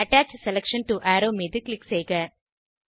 attach selection to arrow மீது click செய்க